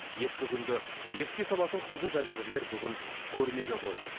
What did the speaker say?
ескі күнді еске салатын құнды жәдігерлер бүгін көрмеге қойылды